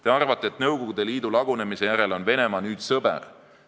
Te arvate, et Nõukogude Liidu lagunemise järel on Venemaa nüüd sõber.